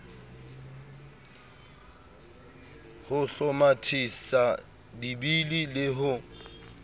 ho hlomathisa dibili le ho